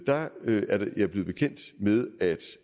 der er jeg blevet bekendt med